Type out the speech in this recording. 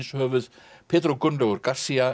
Svínshöfuð pedro Gunnlaugur